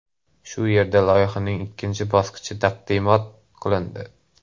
Shu yerda loyihaning ikkinchi bosqichi taqdimot qilindi.